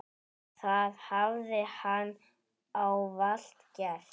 Það hafi hann ávallt gert.